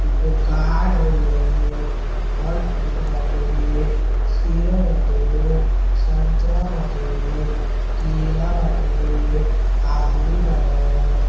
दुकान हउवे फल फ्रूट बाटे सेव बाटे संतरा वाटे केला वाटे आदमी बाड़न --